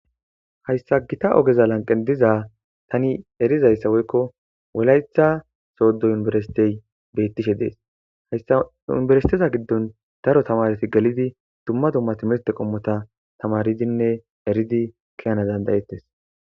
Hayissa Gita ogeza laniqenni tani erizayissa woyikko wolayiththa sodo univeristeyi betishshe des.hayissa universiteza giddonni daro tamareti geliddi dumma dumma timirete qommota tamariddinne erridi ke'anawu danida'etees.